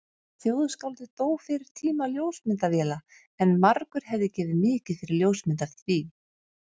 Þjóðskáldið dó fyrir tíma ljósmyndavéla en margur hefði gefið mikið fyrir ljósmynd af því.